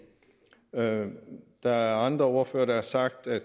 der er andre ordførere der har sagt at